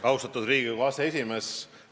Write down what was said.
Austatud Riigikogu aseesimees!